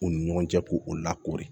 U ni ɲɔgɔn cɛ k'u lakori